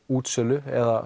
útsölu eða